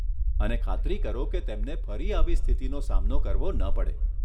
અને ખાતરી કરો કે તેમને ફરી આવી સ્થિતિનો સામનો કરવો ન પડે.